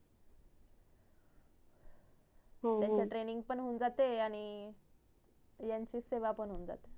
हो हो त्यांचं training पण होऊन जाते आणि यांची सेवा पण होऊन जाते